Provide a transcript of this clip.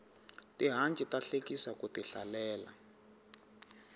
tihanci ta hlekisa ku ti hlalela